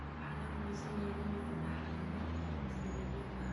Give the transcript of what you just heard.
Waxaa la rumeysan yahay in lagu dhaxlo hab is-daba joog ah.